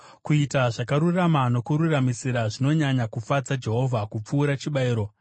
Kuita zvakarurama nokururamisira zvinonyanya kufadza Jehovha kupfuura chibayiro.